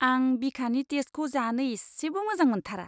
आं बिखानि टेस्टखौ जानो इसेबो मोजां मोन्थारा!